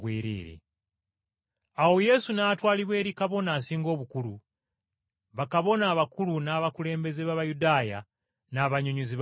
Awo Yesu n’atwalibwa eri Kabona Asinga Obukulu, bakabona abakulu n’abakulembeze b’Abayudaaya n’abannyonnyozi b’amateeka.